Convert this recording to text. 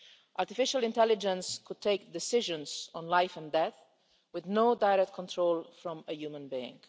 Artificial intelligence could take decisions on life and death, with no direct control from a human being.